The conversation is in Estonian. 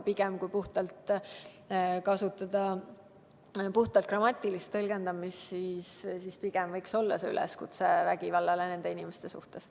Aga kui kasutada puhtalt grammatilist tõlgendamist, siis pigem võiks see olla üleskutse vägivallale nende inimeste suhtes.